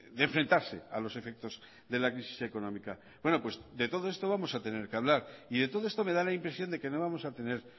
de enfrentarse a los efectos de la crisis económica bueno pues de todo esto vamos a tener que hablar y de todo esto me da la impresión de que no vamos a tener